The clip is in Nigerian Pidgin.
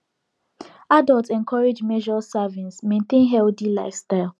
adults encouraged measure servings maintain healthy lifestyle